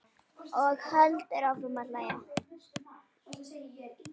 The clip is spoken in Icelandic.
Og heldur áfram að hlæja.